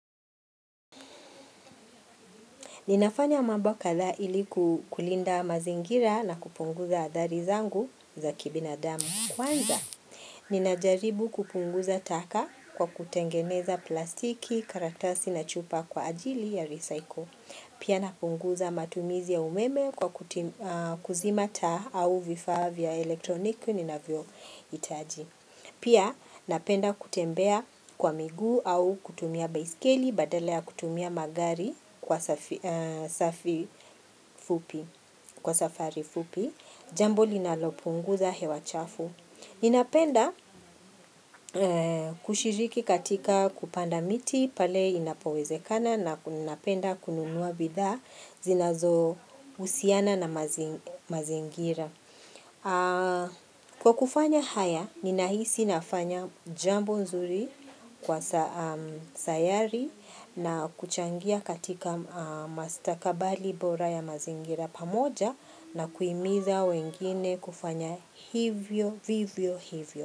Ninafanya mambo kadhaa ili kulinda mazingira na kupunguza athari zangu za kibinadamu. Kwanza Ninajaribu kupunguza taka kwa kutengeneza plastiki, karatasi na chupa kwa ajili ya recycle. Pia, napunguza matumizi ya umeme kwa kuzima taa au vifaa vya elektroniki ninavyohitaji. Pia, napenda kutembea kwa miguu au kutumia baiskeli badala ya kutumia magari kwa kwa safari fupi. Jambo linalopunguza hewa chafu. Ninapenda kushiriki katika kupanda miti pale inapowezekana na napenda kununua bidhaa zinazohusiana na mazingira. Kwa kufanya haya, ninahisi nafanya jambo nzuri kwa sayari na kuchangia katika mastakabali bora ya mazingira pamoja na kuhimiza wengine kufanya vivyo hivyo.